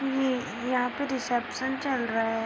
ये यहाँ पे रेसेप्शन चल रहा है।